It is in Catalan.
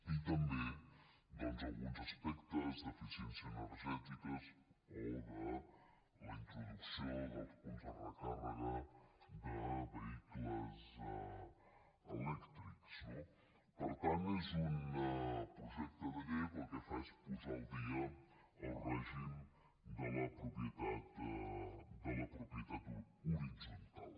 i també doncs alguns aspectes d’eficiència energètica o la introducció dels punts de recàrrega de vehicles elèctrics no per tant és un projecte de llei que el que fa és posar al dia el règim de la propietat horitzontal